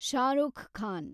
Shahrukh Khan